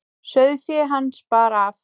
Sauðfé hans bar af.